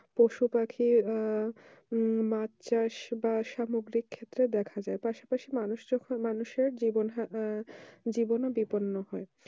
পশু পাখি আহ মাছ চাষ বা সামগ্রিক ক্ষেত্রের দেখা যায় পাশা পাশি মানুষ যখন মানুষের জীবন হানা জীবনে বিপর্ন হয়